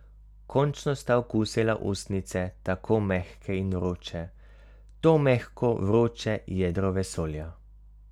Končno sta okusila ustnice, tako mehke in vroče, to mehko, vroče jedro vesolja.